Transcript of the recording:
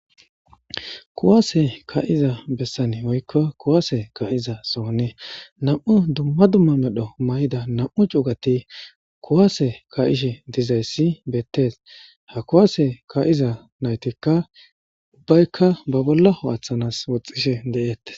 Kuwasse ka'zza bessan woykko kuwasse ka'zza sohoni nammu' dumma dumma medho mayida nammu' cuggathi kuwasse ka'she dizayssi bethes. Ha kuwasse ka'zza nayttikka ubbayka ba bolla ho'athanas woxishe dethess.